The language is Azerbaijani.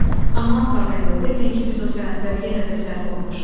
Aman Paqanel, deməyin ki, biz o sənədləri yenə də səhv oxumuşuq.